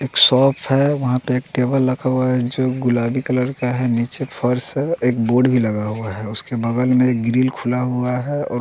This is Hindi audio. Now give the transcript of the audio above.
एक शॉप है वहां पे एक टेबल लगा हुआ है जो गुलाबी कलर का है नीचे फर्श है एक बोर्ड भी लगा हुआ है उसके बगल में एक ग्रिल खुला हुआ है और--